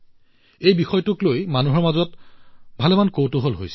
এই বিষয়টোক লৈ মানুহৰ মাজত যথেষ্ট কৌতূহলৰ সৃষ্টি হৈছে